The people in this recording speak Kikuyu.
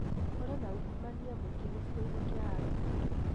Kũrĩ na ungumania muingi gĩcigo-inĩ kĩa Arua.